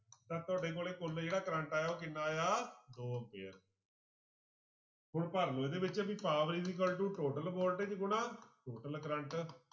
ਤਾਂ ਤੁਹਾਡੇ ਕੋਲੇ ਕੁੱਲ ਜਿਹੜਾ ਕਰੰਟ ਆਇਆ ਉਹ ਕਿੰਨਾ ਆਇਆ ਦੋ ਆਉਂਦੇ ਆ ਹੁਣ ਭਰ ਲਓ ਇਹਦੇ ਵਿੱਚ ਵੀ power equals to total voltage ਗੁਣਾ total ਕਰੰਟ।